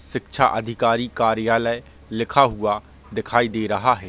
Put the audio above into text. शिक्षा अधिकारी कार्यालय लिखा हुआ दिखाई दे रहा है।